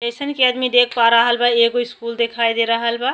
जइसन कि आदमी देख पा रहल बा एगो स्कूल देखाई दे रहल बा।